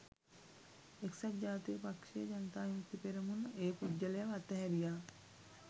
එක්සත් ජාතික පක්ෂය ජනතා විමුක්ති පෙරමුණ ඒ පුද්ගලයව අතහැරියා